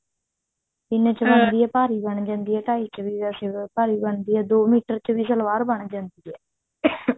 ਤਿੰਨ ਭਾਰੀ ਬਣ ਜਾਂਦੀ ਹੈ ਢਾਈ ਚ ਵੇਸੇ ਵੀ ਭਾਰੀ ਬਣਦੀ ਹੈ ਦੋ ਮੀਟਰ ਚ ਵੀ ਸਲਵਾਰ ਬਣ ਜਾਂਦੀ ਹੈ